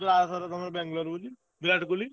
କହିଲ ଆରଥର ତମର ବାଙ୍ଗଲୋର ବୋଲି ବିରାଟ କୋହଲି।